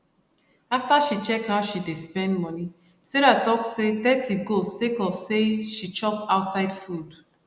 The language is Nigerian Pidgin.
after she check how she dey spend money sarah talk say thirty go sake of say she chop ouside food